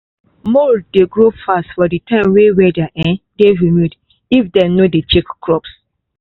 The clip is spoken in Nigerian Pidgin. mould dey grow fast for the time way the weather um dey humid if dem no dey check crops.